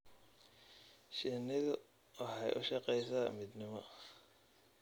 Shinnidu waxay u shaqaysaa midnimo.